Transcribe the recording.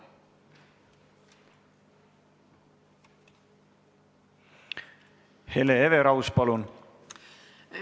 Hele Everaus, palun!